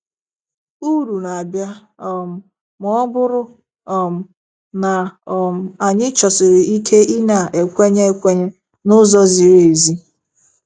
Uru na-abịa um ma ọ bụrụ um na um anyị chọsiri ike ịna-ekwenye ekwenye n'ụzọ ziri ezi.